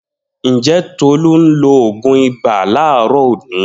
Njẹ̀ Tolu n lo oogun ibà laarọ òni?